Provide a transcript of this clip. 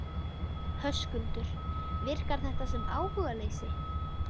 Höskuldur: Virkar þetta sem áhugaleysi?